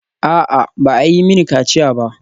A'a, ba a yi mini kaciya ba.